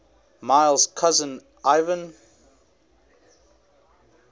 miles cousin ivan